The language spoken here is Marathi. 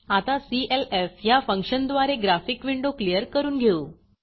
आता clf ह्या फंक्शनद्वारे ग्राफिक विंडो क्लियर करून घेऊ